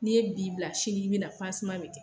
N'i ye b'i bila, sini i bɛ na pansiman bɛ kɛ